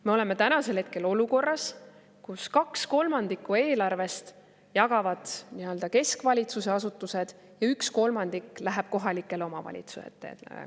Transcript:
Me oleme olukorras, kus kaks kolmandikku eelarvest jagavad keskvalitsuse asutused ja üks kolmandik läheb kohalikele omavalitsustele.